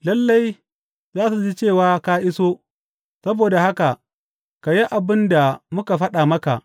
Lalle za su ji cewa ka iso, saboda haka, ka yi abin da muka faɗa maka.